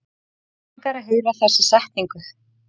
Langar að heyra þessa setningu.